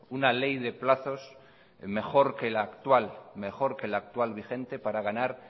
una ley de plazos mejor que la actual vigente para ganar